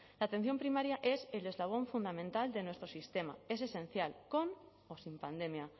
la atención primaria es el eslabón fundamental de nuestro sistema es esencial con o sin pandemia